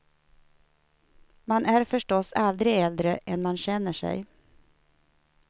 Man är förstås aldrig äldre än man känner sig.